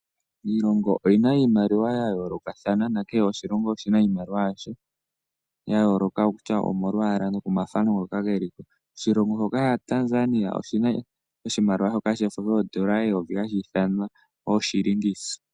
Iilongo oyina iimaliwa ya yoolokathana na kehe oshilongo oshina iimaliwa yasho ya yooloka okutya malwaala nokomathano ngoka ge liko. Oshilongo shoka sha Tanzania oshi na oshimaliwa shoka shefo ha shi ithanwa ooshiilingisa.